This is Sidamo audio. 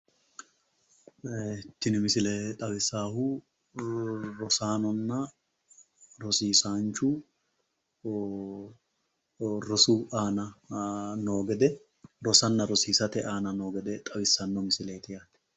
Tini misile xawissaahu rosaaanonna rosiisaanchu rosu aana noo gede, rosanna rosiisate aana noo gede xawissanno misileeti.